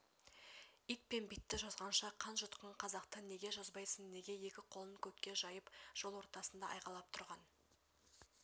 ит пен битті жазғанша қан жұтқан қазақты неге жазбайсың неге екі қолын көкке жайып жол ортасында айғайлап тұрған